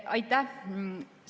Aitäh!